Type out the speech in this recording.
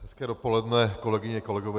Hezké dopoledne, kolegyně, kolegové.